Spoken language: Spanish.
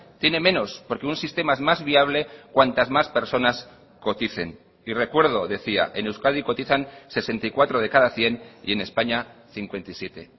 tiene menos porque un sistema es más viable cuantas más personas coticen y recuerdo decía en euskadi cotizan sesenta y cuatro de cada cien y en españa cincuenta y siete